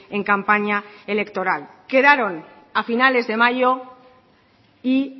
en campaña electoral quedaron a finales de mayo y